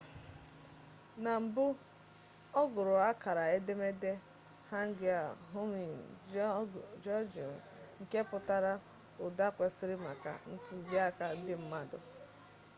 na mbụ ọ gụrụ akara edemede hangeul hunmin jeongeum nke pụtara ụda kwesịrị maka ntuziaka ndị mmadụ